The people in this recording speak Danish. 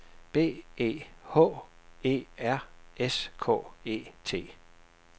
B E H E R S K E T